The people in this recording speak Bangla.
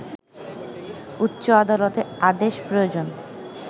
উচ্চ আদালতের আদেশ প্রয়োজন